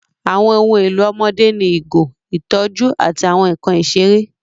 Àwọn ohun èlò ọmọdé ní ìgò, ìtọ́jú, àti àwọn nkan ìṣeré.